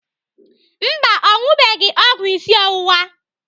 Mba, ọ ṅụbeghị ọgwụ isi ọwụwa.